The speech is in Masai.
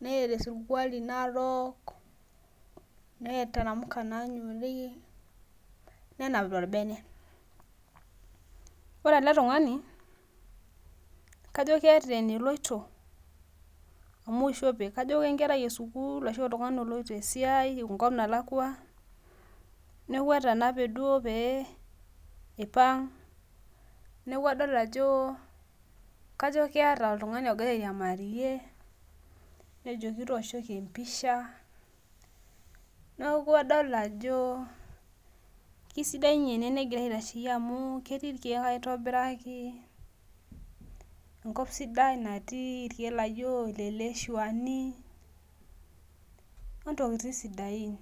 neeta esirkuali narok neeta namuka nanyori nenapita orbene. Ore ele tungani keeta eweji naloito amu ishope. Kajo kenkerai esukul ashu oltung'ani loloito esiai enkop nalakua neeku atanape duo pee eipang' neeku adol ajo kajo keeta oltung'ani ogira airamarie nejoki tooshoki empisha neeku adol ajo keisidai ene negirra aitasheiyie keti irkeek aitobiraki enkop sidai naati irkeek laijo ileleshuani ontokitin sidain.